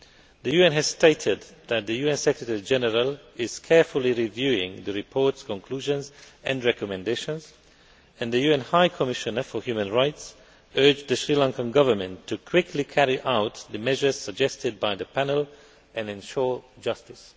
The UN has stated that the UN Secretary General is carefully reviewing the reports, conclusions and recommendations, and the UN High Commissioner for Human Rights has urged the Sri Lankan Government to quickly carry out the measures suggested by the panel and ensure justice.